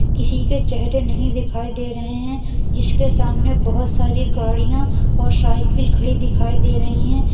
किसी के चेहरे नहीं दिखाई दे रहे हैं जिसके सामने बहोत सारी गाड़ियां और साइकिल खड़ी दिखाई दे रही हैं।